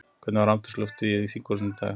Hvernig var andrúmsloftið í þinghúsinu í dag?